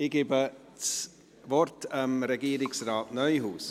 Ich gebe das Wort Regierungsrat Neuhaus.